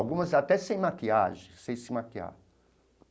Algumas até sem maquiagem, sem se maquiar.